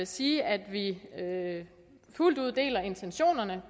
sige at vi fuldt ud deler intentionerne